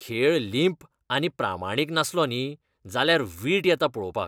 खेळ लींप आनी प्रामाणीक नासलो न्ही, जाल्यार वीट येता पळोवपाक.